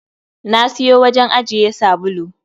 Na siyo wajen ajiye sabulu.